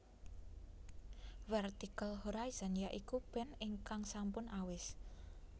Vertical Horizon ya iku band ingkang sampun awis